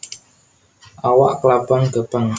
Awak klabang gèpèng